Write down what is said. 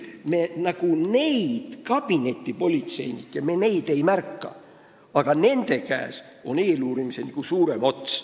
Me neid kabinetipolitseinikke nagu ei märka, aga nende käes on eeluurimisel suurem ots.